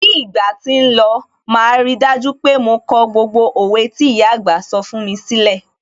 Bí ìgbà tí ń lọ, màá rí dájú pé mo kọ gbogbo òwe tí ìyà àgbà sọ fún mi sílẹ̀.